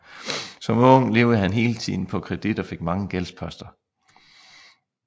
Som ung levede han hele tiden på kredit og fik mange gældsposter